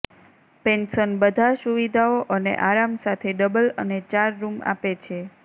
pension બધા સુવિધાઓ અને આરામ સાથે ડબલ અને ચાર રૂમ આપે છે